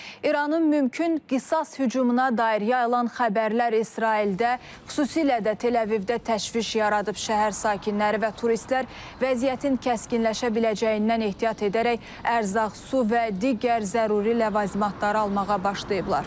İranın mümkün qisas hücumuna dair yayılan xəbərlər İsraildə, xüsusilə də Təl-Əvivdə təşviş yaradıb, şəhər sakinləri və turistlər vəziyyətin kəskinləşə biləcəyindən ehtiyat edərək ərzaq, su və digər zəruri ləvazimatları almağa başlayıblar.